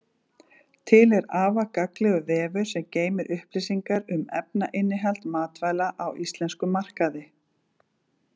Til er afar gagnlegur vefur sem geymir upplýsingar um efnainnihald matvæla á íslenskum markaði.